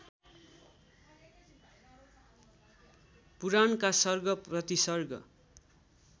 पुराणका सर्ग प्रतिसर्ग